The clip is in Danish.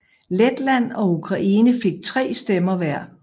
Letland og Ukraine fik tre stemmer hver